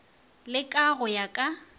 le ka go ya ka